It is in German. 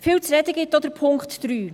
Viel zu reden gibt auch Punkt 3.